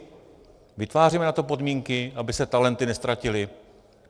Vytváříme na to podmínky, aby se talenty neztratily?